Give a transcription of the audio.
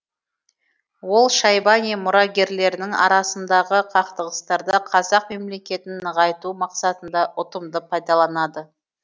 ол шайбани мұрагерлерінің арасындағы қақтығыстарды қазақ мемлекетін нығайту мақсатында ұтымды пайдаланды